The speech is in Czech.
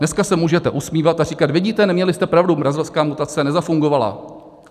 Dneska se můžete usmívat a říkat: Vidíte, neměli jste pravdu, brazilská mutace nezafungovala.